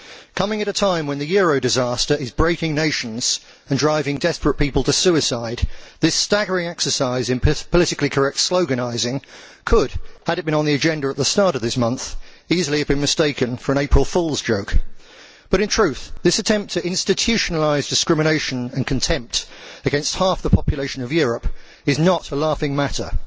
Coming at a time when the euro disaster is breaking nations and driving desperate people to suicide, this staggering exercise in politically correct sloganising could had it been on the agenda at the start of this month easily have been mistaken for an April Fool's joke. But in truth, this attempt to institutionalise discrimination and contempt against half the population of Europe is not a laughing matter.